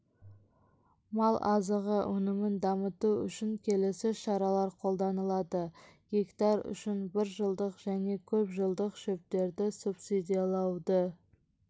мал азығы өнімін дамыту үшін келесі шаралар қолданылады гектарүшін бір жылдық және көп жылдық шөптерді субсидилауды